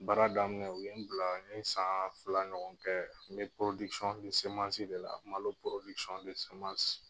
Baara daminɛ u ye n bila n ye san fila ɲɔgɔn kɛ n bɛ de la malo